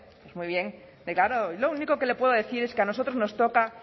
muy bien yo lo único que le puedo decir es que a nosotros nos toca